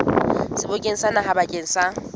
sebokeng sa naha bakeng sa